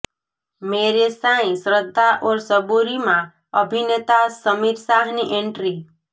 મેરે સાંઈઃ શ્રદ્ધા ઔર સબૂરીમાં અભિનેતા સમીર શાહની એન્ટ્રી